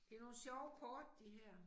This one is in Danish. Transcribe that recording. Det er nogle sjove kort de her